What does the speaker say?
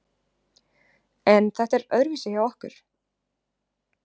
En þetta er öðruvísi hjá okkur